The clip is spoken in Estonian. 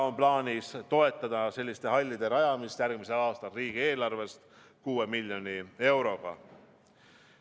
On plaanis toetada selliste hallide rajamist järgmisel aastal riigieelarvest 6 miljoni euroga.